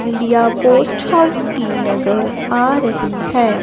India post house की नजर आ रही है।